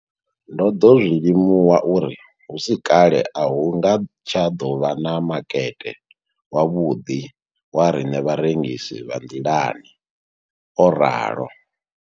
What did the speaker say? Ndo ḓo zwi limuwa uri hu si kale a hu nga tsha ḓo vha na makete wavhuḓi wa riṋe vharengisi vha nḓilani, o ralo.